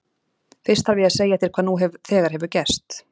Fyrst þarf ég að segja þér hvað nú þegar hefur gerst.